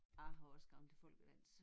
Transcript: Jeg har også gået til folkedans